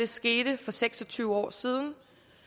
skete for seks og tyve år siden